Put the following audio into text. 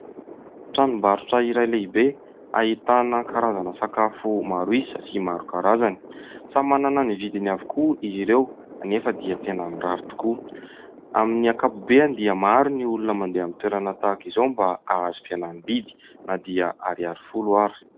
Tranom-barotra iray lehibe, ahitana karazana sakafo maro isa sy maro karazany, samy manana ny vidiny avokoa izy ireo anefa dia tena mirary tokoa, amin'ny ankapobeany dia maro ny olona mandeha amin'ny toerana tahak'izao mba ahazo fihenam-bidy na dia ariary folo ary.